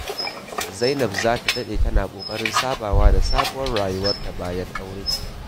Zainab za ta daɗe tana ƙoƙarin sabawa da sabuwar rayuwarta bayan aure.